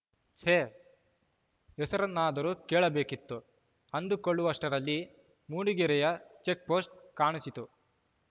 ಛೇ ಹೆಸರನ್ನಾದರೂ ಕೇಳಬೇಕಿತ್ತು ಅಂದುಕೊಳ್ಳುವಷ್ಟರಲ್ಲಿ ಮೂಡಿಗೆರೆಯ ಚೆಕ್‌ ಪೋಸ್ಟ್‌ ಕಾಣಿಸಿತು